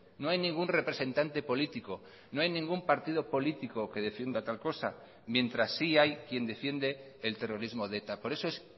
no hay ningún representante político no hay ningún partido político que defienda tal cosa mientras sí hay quien defiende el terrorismo de eta por eso es